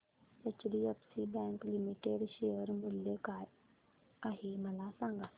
HDFC bank limited share मूल्य काय आहे मला सांगा